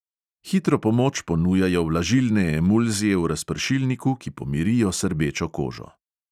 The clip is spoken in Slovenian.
Hitro pomoč ponujajo vlažilne emulzije v razpršilniku, ki pomirijo srbečo kožo.